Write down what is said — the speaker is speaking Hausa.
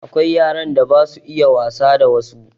Akwai yaran da basu iya wasa da wassu